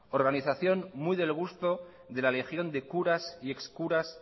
organización muy del gusto de la legión de curas y ex curas